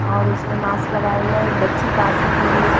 और उसने मास्क लगाया हुआ है एक बच्ची पास में खड़ी है।